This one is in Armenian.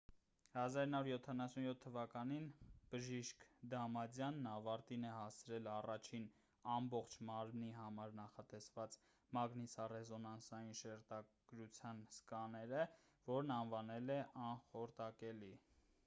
1977 թվականին բժիշկ դամադյանն ավարտին է հասցրել առաջին ամբողջ մարմնի համար նախատեսված մագնիսառեզոնանսային շերտագրության սկաները որն անվանել է անխորտակելի